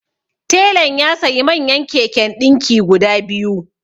Telan ya sayi manyan keken ɗinki guda biyu